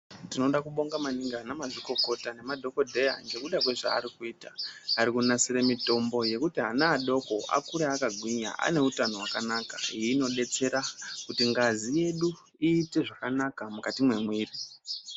Tinoda kubonga maningi anamazvikokota nemadhokodheya ngekuda kwezvaari kuita. Ari kunasire mitombo yekuti ana adoko Akure akagwinya ane utano hwakanaka .Iyi inodetsera kuti ngazi yedu iite zvakanaka, mukati mwemwiri.